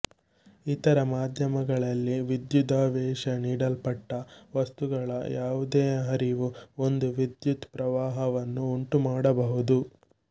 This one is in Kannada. ಇತರ ಮಾಧ್ಯಮಗಳಲ್ಲಿ ವಿದ್ಯುದಾವೇಶ ನೀಡಲ್ಪಟ್ಟ ವಸ್ತುಗಳ ಯಾವುದೇ ಹರಿವು ಒಂದು ವಿದ್ಯುತ್ ಪ್ರವಾಹವನ್ನು ಉಂಟುಮಾಡಬಹುದು